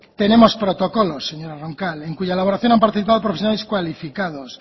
tenemos protocolos señora roncal en cuya elaboración han participado profesionales cualificados